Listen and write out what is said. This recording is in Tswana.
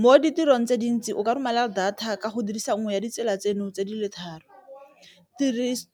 Mo ditirong tse dintsi o ka romela data ka go dirisa nngwe ya ditsela tseno tse di le tharo,